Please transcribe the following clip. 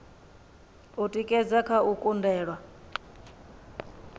u tikedza kha u kundelwa